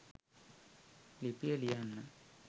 ලිපිය ලියන්න